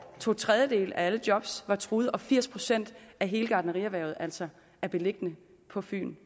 to tredjedele af alle job var truet og firs procent af hele gartnerierhvervet er altså beliggende på fyn